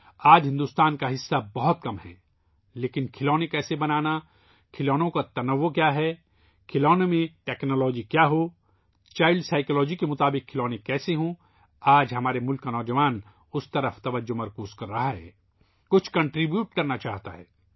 آج ہندوستان کا حصہ بہت کم ہے لیکن کھلونے کیسے بنائے جائیں ، کھلونوں کی اقسام کیا ہیں ، کھلونوں میں ٹیکنالوجی کیا ہے ، بچوں کی نفسیات کے مطابق کھلونے کیسے ہیں، آج ہمارے ملک کا نوجوان اس پر توجہ دے رہا ہے ، کچھ تعاون کرنا چاہتا ہے